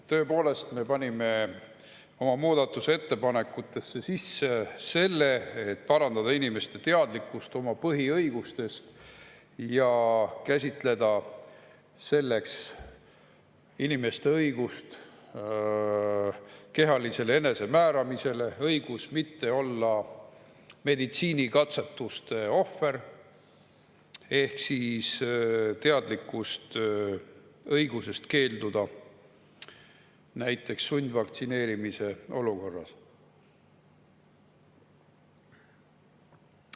Tõepoolest, me panime oma muudatusettepanekutesse sisse selle, et parandada inimeste teadlikkust oma põhiõigustest – ja käsitleda selleks inimeste õigust kehalisele enesemääramisele, õigust mitte olla meditsiinikatsetuste ohver – ehk siis teadlikkust õigusest keelduda, näiteks sundvaktsineerimise olukorras.